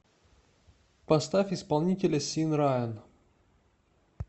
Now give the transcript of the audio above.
поставь исполнителя син райан